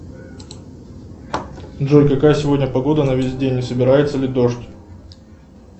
джой какая сегодня погода на весь день и собирается ли дождь